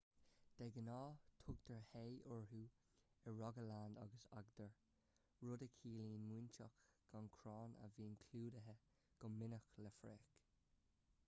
de ghnáth tugtar hei orthu i rogaland agus agder rud a chiallaíonn móinteach gan chrann a bhíonn clúdaithe go minic le fraoch